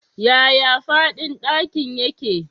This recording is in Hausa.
Yaya faɗin ɗakin yake?